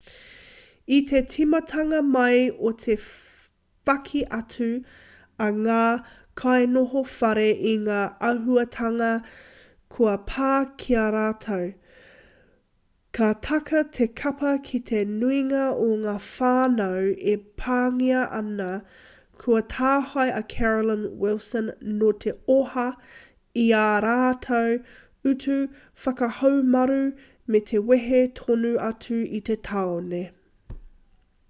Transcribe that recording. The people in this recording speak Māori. i te tīmatanga mai o te whaki atu a ngā kainoho whare i ngā āhuatanga kua pā ki a rātou ka taka te kapa ki te nuinga o ngā whānau e pāngia ana kua tāhae a carolyn wilson nō te oha i ā rātou utu whakahaumaru me te wehe tonu atu i te tāone